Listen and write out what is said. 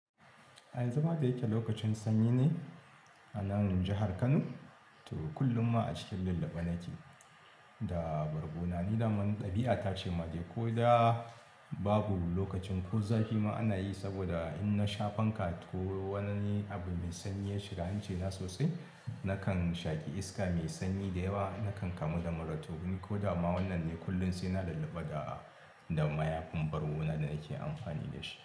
Yanzu ma da yake lokacin sanyi ne a nan jihar Kano to kullum ma a cikin lullube na ke. Da bargona ni dama ni ɗabi'a ta ce ma dai ko da babu lokacin ko zafi ma ana yi saboda in na sha fanka to wanani abu mai sanyi ya shiga hanci na sosai. Nakan shaki iska mai sanyi da yawa, nakan kamu da mura to in ko da ma wannan ne kullum sai ina lulluba da da mayafin bargona da nake amfani da shi.